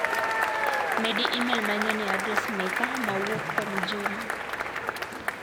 Medi imel manyien e adres meka ma owuok kuom Juma.